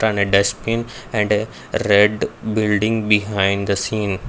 put on a dustbin and red building behind the scene.